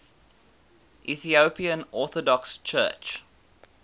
ethiopian orthodox church